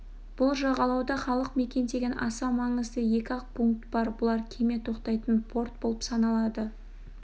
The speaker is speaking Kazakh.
бұл жағалауда халық мекендеген аса маңызды екі-ақ пункт бар бұлар кеме тоқтайтын порт болып саналады